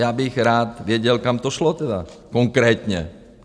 Já bych rád věděl, kam to šlo tedy konkrétně.